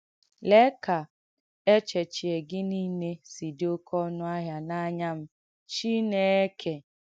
“Léè ka èchēchīē gị niile si dī ọ́kẹ́ ọ̀nụ̀ áhị̀à n’ànyà m, Chineke!